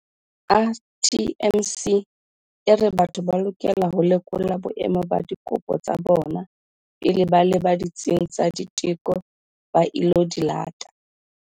RTMC e re batho ba lokela ho lekola boemo ba dikopo tsa bona pele ba leba ditsing tsa diteko ba ilo di lata.